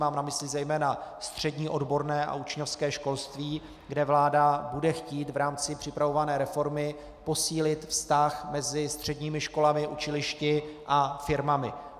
Mám na mysli zejména střední odborné a učňovské školství, kde vláda bude chtít v rámci připravované reformy posílit vztah mezi středními školami, učilišti a firmami.